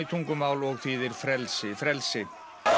tungumál og þýðir frelsi frelsi